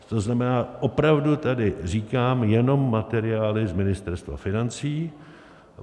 To znamená, opravdu tady říkám jenom materiály z Ministerstva financí.